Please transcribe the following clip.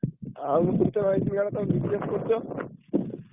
ଆଉ ମୁଁ ଶୁଣିତେ ପାଇଥିଲି କାଳେ ତମେ business କରୁଛ?